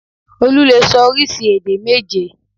Olú lè sọ oríṣi èdè méje